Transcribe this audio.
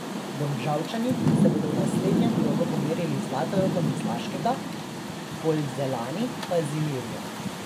Domžalčani se bodo v naslednjem krogu pomerili z Zlatorogom iz Laškega, Polzeljani pa z Ilirijo.